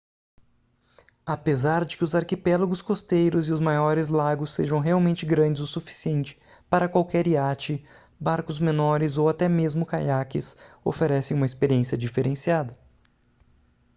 apesar de que os arquipélagos costeiros e os maiores lagos sejam realmente grandes o suficiente para qualquer iate barcos menores ou até mesmos caiaques oferecem uma experiência diferenciada